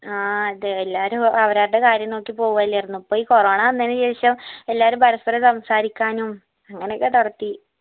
ആ അതെ എല്ലാവരും അവരവരുടെ കാര്യം നോക്കി പോവ്അല്ലാർന്നോ അപ്പൊ ഈ corona വന്നെന്നു ശേഷം എല്ലാരും പരസ്പ്പരം സംസാരിക്കാനും അങ്ങനൊക്കെ തൊടത്തി